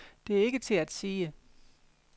Det er ikke til at sige.